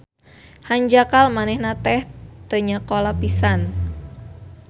Hanjakal manehna teh teu nyakola pisan